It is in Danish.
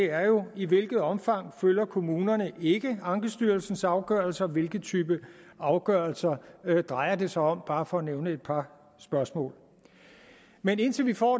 er jo i hvilket omfang følger kommunerne ikke ankestyrelsens afgørelser hvilken type afgørelser drejer det sig om bare for at nævne et par spørgsmål men indtil vi får